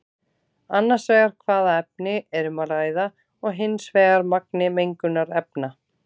Annars vegar hvaða efni er um að ræða og hins vegar magni mengunarefna.